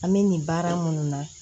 An bɛ nin baara minnu na